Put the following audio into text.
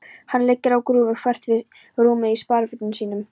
Hann liggur á grúfu þvert yfir rúmið í sparifötunum sínum.